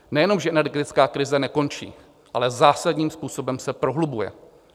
Nejenom že energetická krize nekončí, ale zásadním způsobem se prohlubuje.